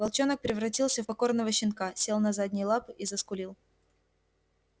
волчонок превратился в покорного щенка сел на задние лапы и заскулил